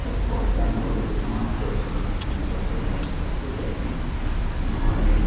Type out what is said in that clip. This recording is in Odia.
ବର୍ତ୍ତମାନ ଗୋଟେ ନୂଆ କ୍ରସର ମିସିନ୍ ବସେଇଲା ଏ ସେତୁ ଦେଇକି ନୂଆ ରେ --